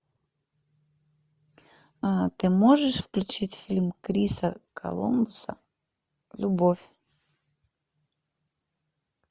ты можешь включить фильм криса коламбуса любовь